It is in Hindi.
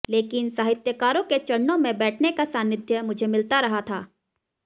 लेकिन साहित्यकारों के चरणों में बैठने का सानिध्य मुझे मिलता रहा था